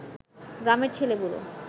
গ্রামের ছেলে-বুড়ো